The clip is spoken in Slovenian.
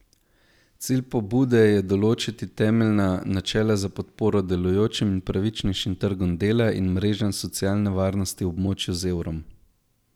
Cilj pobude je določiti temeljna načela za podporo delujočim in pravičnejšim trgom dela in mrežam socialne varnosti v območju z evrom.